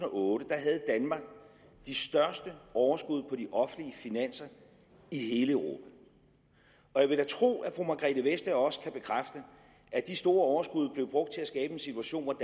otte havde de største overskud på de offentlige finanser i hele europa og jeg vil da tro at fru margrethe vestager også kan bekræfte at de store overskud blev brugt til at skabe en situation hvor